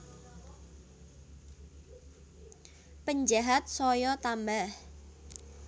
Penjahat saya tambah